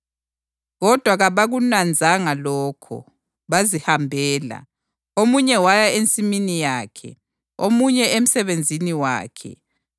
Kodwa kabakunanzanga lokho, bazihambela, omunye waya ensimini yakhe, omunye emsebenzini wakhe.